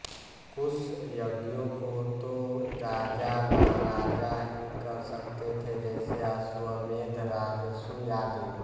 कुछ यज्ञों को तो राजामहाराजा ही कर सकते थे जैसे अश्वमेध राजसूय आदि